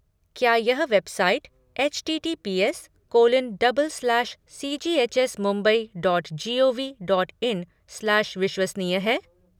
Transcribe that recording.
क्या यह website HTTPS colon double slash CGHS Mumbai dot G O V dot in slash विश्वसनीय है?